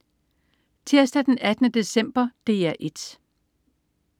Tirsdag den 18. december - DR 1: